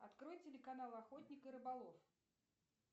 открой телеканал охотник и рыболов